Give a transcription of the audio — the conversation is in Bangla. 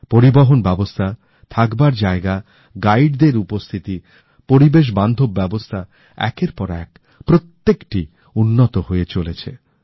পরিবহন ব্যবস্থা থাকবার জায়গা গাইডদের উপস্থিতি পরিবেশ বান্ধব ব্যবস্থা একের পর এক প্রত্যেকটি উন্নত হয়ে চলেছে